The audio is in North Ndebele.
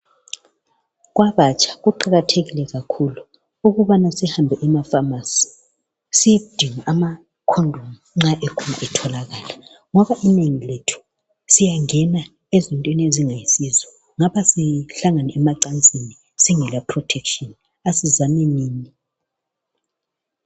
Kwabatsha kuqakathekile kakhulu ukubana sihambe emafamasi siyedinga amakhondomu nxa ekhon etholakala, ngoba inengi lethu siyangena ezintweni ezingayisizo ngapha sihlangana emacansini singela prothekishini, asizamenini.